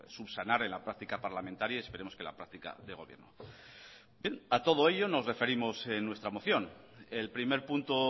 subsanar en la práctica parlamentaria y esperemos que en la práctica de gobierno bien a todo ello nos referimos en nuestra moción el primer punto